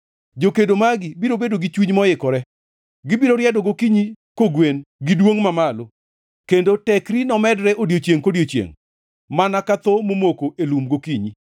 Jokedo magi biro bedo gi chuny moikore; gibiro riedo gokinyi kogwen gi duongʼ mamalo, kendo tekri nomedre odiechiengʼ kodiechiengʼ mana ka tho momoko e lum gokinyi.